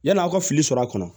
Yann'aw ka fili sɔrɔ a kɔnɔ